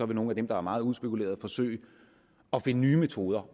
vil nogle af dem der er meget udspekulerede forsøge at finde nye metoder